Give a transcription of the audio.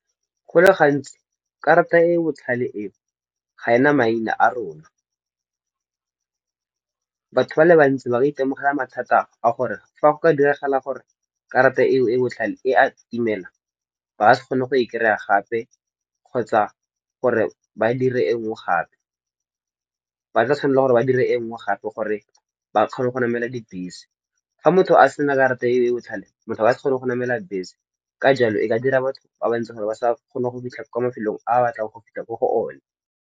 Go le gantsi karata e e botlhale eo ga ena maina a rona. Batho ba le bantsi ba itemogela mathata a gore fa go ka diragala gore karata eo e botlhale e a timela ba ka se kgone go e kry-a gape kgotsa gore ba dire e nngwe gape. Ba tla tshwanela gore ba dire e nngwe gape gore ba kgone go namela dibese. Fa motho a sena karata e e botlhale motho ba sa kgone go namela bese. Ka jalo, e ka dira batho ba bantsi gore ba sa kgona go fitlha kwa mafelong a batlang go fitlha ko go one.